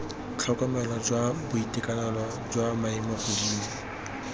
tlhokomelo jwa boitekanelo jwa maemogodimo